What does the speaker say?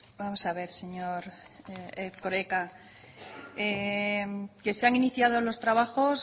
vamos a ver señor erkoreka que se han iniciado los trabajos